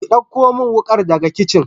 Ki dauko min wukar daga kicin